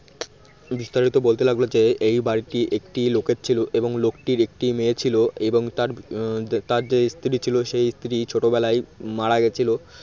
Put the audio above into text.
বিস্তারিত বলতে লাগলো যে এই বাড়িটি একটি লোকের ছিল এবং লোকটির একটি মেয়ে ছিল এবং তার তার যে স্ত্রী ছিল সেই স্ত্রী ছোটবেলায় মারা গেছিল